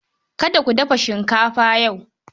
Kada ku dafa shinkafa yau.